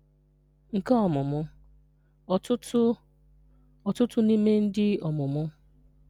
Nke Ọmụmụ: Ọtụtụ Ọtụtụ n’ime Ndị Ọmụmụ.